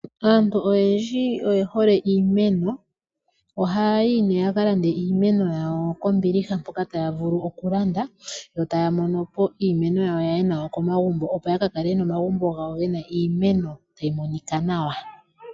Aantu oyendji oyehole iimeno. Oha yayi nee yaka lande iimeno yawo kombiliha mpoka taya vulu okulanda yo taya monopo iimeno yawo yaye nayo komagumbo opo yakakale yena omagumbo taga monika nawa.